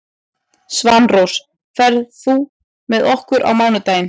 Svanrós, ferð þú með okkur á mánudaginn?